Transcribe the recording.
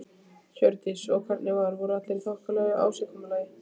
Hjördís: Og hvernig var, voru allir í þokkalegu ásigkomulagi?